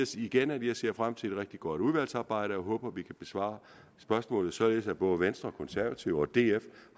sige igen at jeg ser frem til et rigtig godt udvalgsarbejde og håber vi kan besvare spørgsmål således at både venstre konservative og df